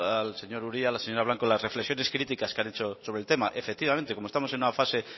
al señor uria a la señora blanco las reflexiones críticas que han hecho sobre el tema efectivamente como estamos en una fase